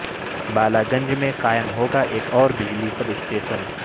بالا گنج میں قائم ہوگا ایک اور بجلی سب اسٹیشن